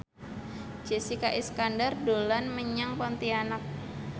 Jessica Iskandar dolan menyang Pontianak